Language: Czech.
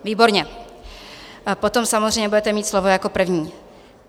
Výborně, potom samozřejmě budete mít slovo jako první.